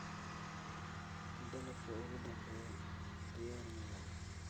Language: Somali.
Dalabka ugu dambeeya diyaar ma yahay?